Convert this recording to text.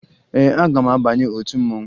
Ee, aga m abanye otu mmanwụ